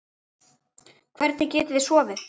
Hvernig getið þið sofið?